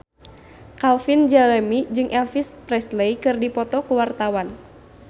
Calvin Jeremy jeung Elvis Presley keur dipoto ku wartawan